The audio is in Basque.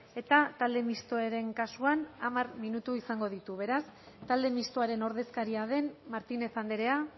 eta talde mistoaren kasuan hamar minutu izango ditu beraz talde mistoaren ordezkaria den martínez andrea